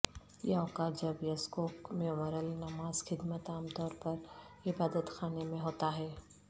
یہ اوقات جب یزکوک میموریل نماز خدمت عام طور پر عبادت خانے میں ہوتا ہے